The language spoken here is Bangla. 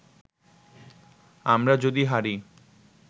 আমরা যদি হারি